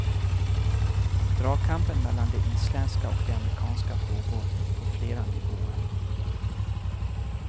Dragkampen mellan det isländska och det amerikanska pågår på flera nivåer.